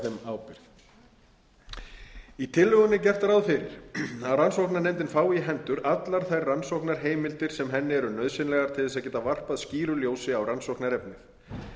á þeim ábyrgð í tillögunni er gert ráð fyrir að rannsóknarnefndin fái í hendur allar þær rannsóknarheimildir sem henni eru nauðsynlegar til þess að geta varpað skýru ljósi á rannsóknarefnið er